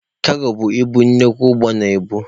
Kago bụ ibu nnukwu ụgbọ na-ebu.